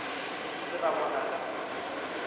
ke dipitsi ra bona ka